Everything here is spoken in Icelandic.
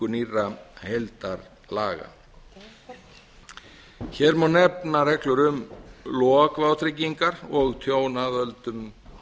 nýrra heildarlaga hér má nefna reglur um lok vátryggingar og tjón af völdum